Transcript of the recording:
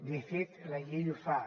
de fet la llei ho fa